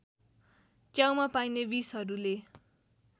च्याउमा पाइने विषहरूले